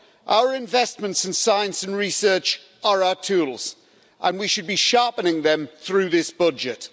Our investments in science and research are our tools and we should be sharpening them through this budget.